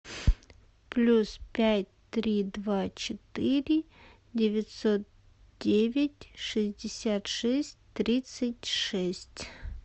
плюс пять три два четыре девятьсот девять шестьдесят шесть тридцать шесть